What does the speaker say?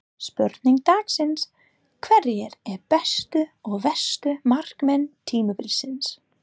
Spurning dagsins: Hverjir eru bestu og verstu markmenn tímabilsins?